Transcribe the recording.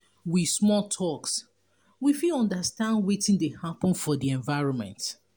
with small talks we fit understand wetin de happen for the environment